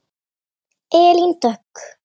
Elín Dögg.